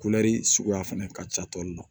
Kulɛri suguya fɛnɛ ka ca tɔli la